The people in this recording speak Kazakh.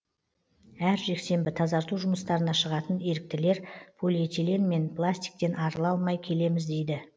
әр жексенбі тазарту жұмыстарына шығатын еріктілер полиэтилен мен пластиктен арыла алмай келеміз дейді